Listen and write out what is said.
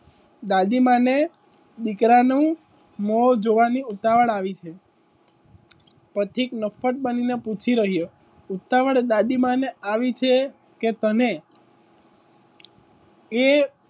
દાદીમાને દીકરાનું મો જોવાની ઉતાવડ આવી છે. પથિક નફ્ફટ બની ને પૂછી રહ્યો ઉતાવડ દાદી માં ને આવી છે કે તને? એ.